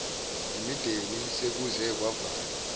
imideni sekuze kwavalwa